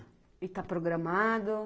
E tá programado?